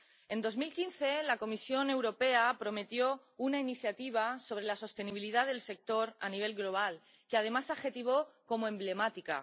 En 2015, la Comisión Europea prometió una iniciativa sobre la sostenibilidad del sector a nivel global, que además adjetivó como emblemática.